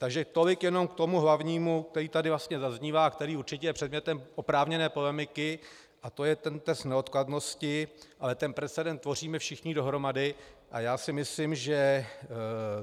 Takže tolik jenom k tomu hlavnímu, které tady vlastně zaznívá a které určitě je předmětem oprávněné polemiky, a to je ten test neodkladnosti, ale ten precedent tvoříme všichni dohromady a já si myslím, že